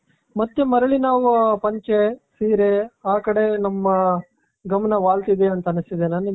ಮತ್ತೆ ಮರಳಿ ನಾವು ಪಂಚೆ ಸೀರೆ ಆ ಕಡೆ ನಮ್ಮ ಗಮನ ವಾಲ್ತಿದೆ ಅಂತ ಅನ್ನಿಸ್ತಿದೆ.